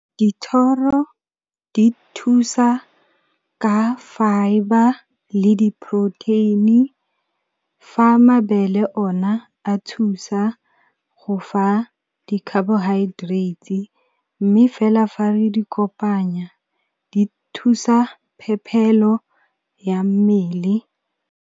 Dithoro di thusa ka fibre le di-protein-i, fa mabele ona a thusa go fa di-carbohydrates, mme fela fa re di kopanya di thusa phephelo ya mmele.